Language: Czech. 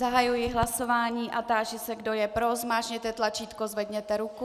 Zahajuji hlasování a táži se, kdo je pro, zmáčkněte tlačítko, zvedněte ruku.